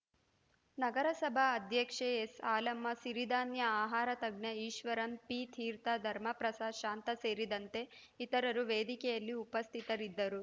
ನಗರಸಭಾ ಅಧ್ಯಕ್ಷೆ ಎಸ್‌ ಹಾಲಮ್ಮ ಸಿರಿಧಾನ್ಯ ಆಹಾರ ತಜ್ಞ ಈಶ್ವರನ್‌ ಪಿ ತೀರ್ಥ ಧರ್ಮಪ್ರಸಾದ್‌ ಶಾಂತ ಸೇರಿದಂತೆ ಇತರರು ವೇದಿಕೆಯಲ್ಲಿ ಉಪಸ್ಥಿತರಿದ್ದರು